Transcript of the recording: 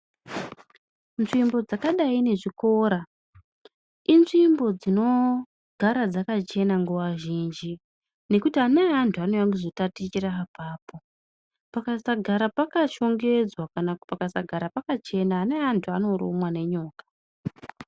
Nzvimbo dzakadai ngechikora inzvimbo dzinogara dzakachena nguwa zhinji ngokuti amweni antu anouya kuzotambira apapo saka pakasagara pakashongedzwa kana pakasagara pakachena amweni antu anorumwa nenyoka.